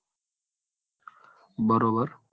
બરોબર